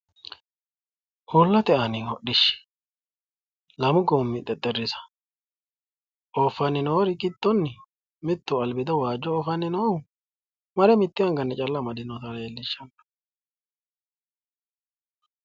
Uullate aani hodhdhishshi lamu gommi xexxerrisa ooffanni noori giddonni mittu albiido waajjo oofanni noohu mare mitte anganni calla amadinota leellishshanno.